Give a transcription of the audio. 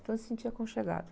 Então, se sentia aconchegado